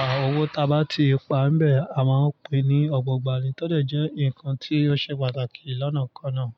À, owó ta bá ti pa bẹ́ẹ̀, a máa pín ní ọ̀gbọ̀ gbà ni. Tó de jẹ́ ǹkan tí ó ṣe pàtàkì lọ́nà kan náà.